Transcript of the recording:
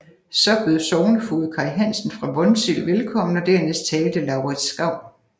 Så bød sognefoged Kaj Hansen fra Vonsild velkommen og dernæst talte Laurids Skau